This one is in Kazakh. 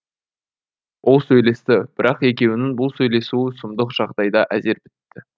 иә ол сөйлесті бірақ екеуінің бұл сөйлесуі сұмдық жағдайда әзер бітті